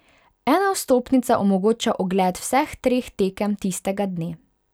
Ena vstopnica omogoča ogled vseh treh tekem tistega dne.